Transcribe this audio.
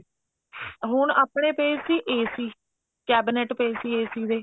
ਹੁਣ ਆਪਣੇ ਪਏ ਸੀ AC cabinet ਪਏ ਸੀ AC ਦੇ